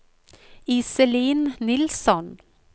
Iselin Nilsson